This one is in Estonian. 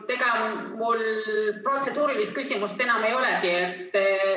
Tegelikult mul protseduurilist küsimust enam ei olegi.